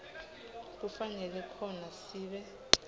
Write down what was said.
kufanele khona sib